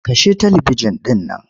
Kashe talibijin ɗin nan.